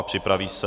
A připraví se...